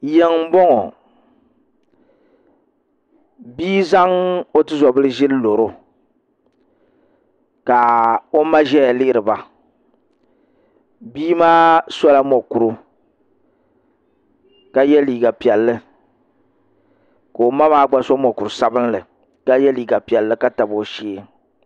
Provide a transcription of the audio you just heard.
Yiŋ n boŋo bia zaŋ o tuzobili ʒili loro ka o ma ʒɛya lihiriba bia maa sola mokuru ka yɛ liiga piɛlli ka o ma maa gba so mokuru sabinli ka yɛ liga piɛlli ka tabi o shee